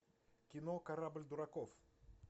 кино корабль дураков